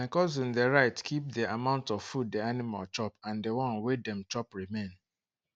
my cousin dey write kip the amount of food the animal chop and the one wey dem chop remain